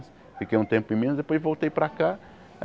Fiquei um tempo em Minas, depois voltei para cá.